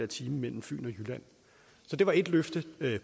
time mellem fyn og jylland så det var ét løfte